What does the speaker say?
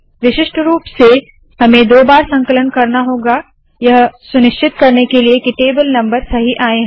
विशिष्ट रूप से हमें दो बार संकलन करना होगा यह सुनिश्चित करने के लिए के टेबल नम्बर सही आए